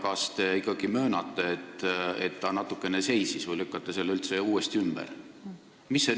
Kas te ikkagi möönate, et ta natuke seisis, või lükkate selle üldse uuesti ümber?